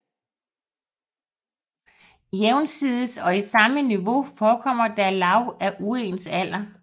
Jævnsides og i samme niveau forekommer der lag af uens alder